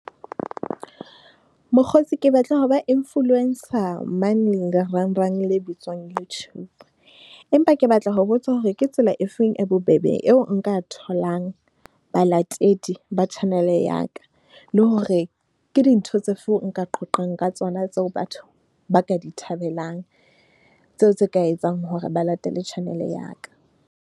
Mokgotsi ke batla ho ba influencer mane, lerangrang le bitswang YouTube, empa ke batla ho botsa hore ke tsela efeng. E bobebe eo nka tholang balatedi ba channel ya ka. Le hore ke dintho tsefe nka qoqang ka tsona tseo batho ba ka di thabelang, tseo tse ka etsang hore ba latele channel ya ka.